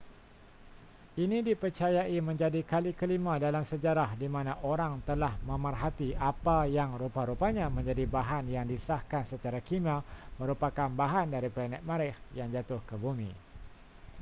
ini dipercayai menjadi kali kelima dalam sejarah di mana orang telah memerhati apa yang rupa-rupanya menjadi bahan yang disahkan secara kimia merupakan bahan dari planet marikh yang jatuh ke bumi